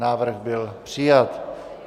Návrh byl přijat.